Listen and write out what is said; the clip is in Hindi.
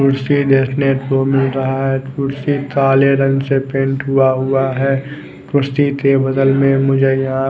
खुर्ची देखने को मिल रहा है खुर्ची काले रंग से पेंट किया हुआ है खुर्ची के बगल में मुझे यहाँ--